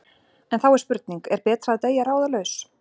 En þá er spurning: Er betra að deyja ráðalaus?